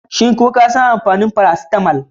Shin ko ka san amfanin faracitamol?